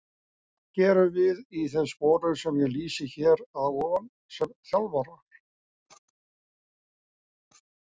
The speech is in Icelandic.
Hvað gerum við í þeim sporum sem ég lýsi hér að ofan sem þjálfarar?